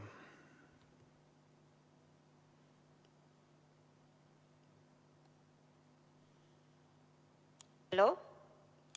Halloo!